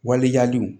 Waleyaliw